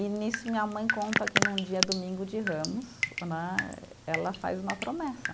E nisso minha mãe conta que num dia, domingo de Ramos né, ela faz uma promessa.